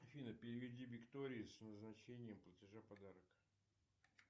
афина переведи виктории с назначением платежа подарок